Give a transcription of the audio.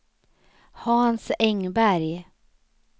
Hans Engberg